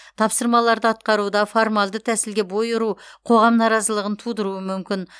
тапсырмаларды атқаруда формалды тәсілге бой ұру қоғам наразылығын тудыруы мүмкін